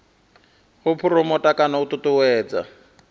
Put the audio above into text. u phuromotha kana u ṱuṱuwedza